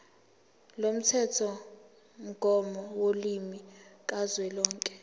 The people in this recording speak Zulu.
lomthethomgomo wolimi kazwelonke